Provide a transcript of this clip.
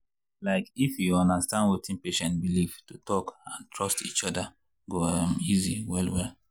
like if you understand wetin patient believe to talk and trust each other go um easy well-well.